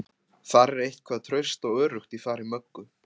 Þar er eitthvað traust og öruggt í fari Möggu.